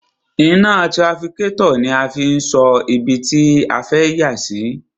Iná trafikátọ̀ ni a máa fi ń sọ ibi tí a fẹ́ yà sí.